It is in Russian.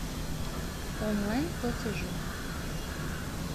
онлайн платежи